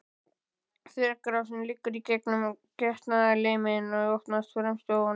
Þvagrásin liggur í gegnum getnaðarliminn og opnast fremst á honum.